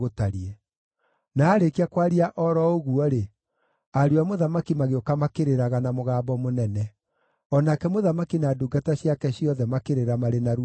Na aarĩkia kwaria o ro ũguo-rĩ, ariũ a mũthamaki magĩũka makĩrĩraga na mũgambo mũnene. O nake mũthamaki na ndungata ciake ciothe makĩrĩra marĩ na ruo rũnene.